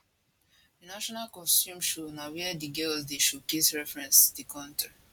di national costume show na wia di girls dey showcase reference di kontris